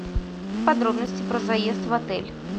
подробности про заезд в отель